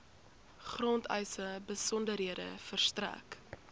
grondeise besonderhede verstrek